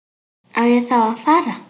Á ég þá að fara.